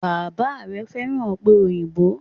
Bàbá rè fẹ́ràn òpè òyìnbó